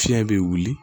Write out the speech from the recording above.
Fiɲɛ be wuli